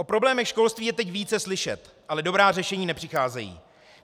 O problémech školství je teď více slyšet, ale dobrá řešení nepřicházejí.